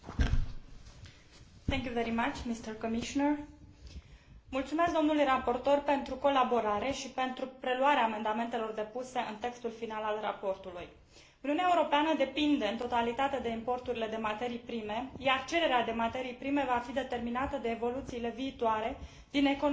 Mulțumesc domnului raportor pentru colaborare și pentru preluarea amendamentelor depuse în textul final al raportului. Uniunea Europeană depinde în totalitate de importurile de materii prime, iar cererea de materii prime va fi determinată de evoluțiile viitoare din economiile emergente și de răspândirea rapidă a tehnologiilor aferente.